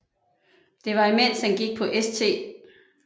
Det var imens han gik på St